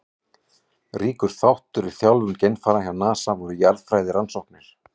Ríkur þáttur í þjálfun geimfara hjá NASA voru jarðfræðirannsóknir.